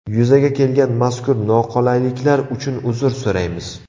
Yuzaga kelgan mazkur noqulayliklar uchun uzr so‘raymiz.